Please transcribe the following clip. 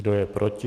Kdo je proti?